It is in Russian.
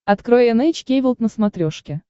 открой эн эйч кей волд на смотрешке